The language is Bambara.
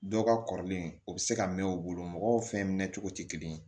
Dɔw ka kɔrɔlen u bɛ se ka mɛn u bolo mɔgɔw fɛn mɛn cogo tɛ kelen ye